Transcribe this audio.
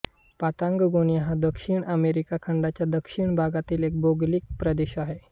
Patagonia हा दक्षिण America खंडाच्या दक्षिण भागातील एक भौगोलिक प्रदेश आहे